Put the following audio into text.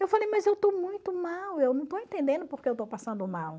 Eu falei, mas eu estou muito mal, eu não estou entendendo porque eu estou passando mal.